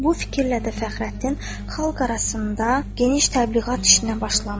Bu fikirlə də Fəxrəddin xalq arasında geniş təbliğat işinə başlamışdı.